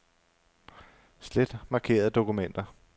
Slet markerede dokumenter.